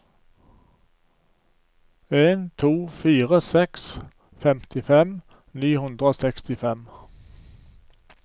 en to fire seks femtifem ni hundre og sekstifem